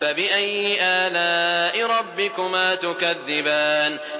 فَبِأَيِّ آلَاءِ رَبِّكُمَا تُكَذِّبَانِ